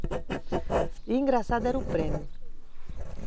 E o engraçado era o prêmio.